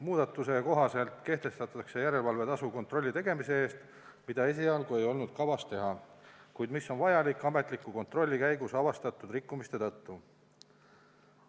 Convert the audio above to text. Muudatuse kohaselt kehtestatakse järelevalvetasu kontrolli tegemise eest, mida esialgu ei olnud kavas teha, kuid mis on vajalik ametliku kontrolli käigus avastatud rikkumiste tõttu.